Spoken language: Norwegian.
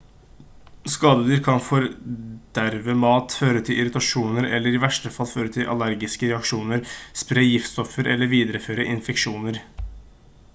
skadedyr kan forderve mat føre til irritasjoner eller i verste fall føre til allergiske reaksjoner spre giftstoffer eller videreføre infeksjoner